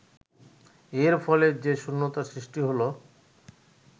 এর ফলে যে শূন্যতার সৃষ্টি হলো